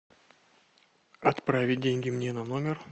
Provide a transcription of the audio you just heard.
отправить деньги мне на номер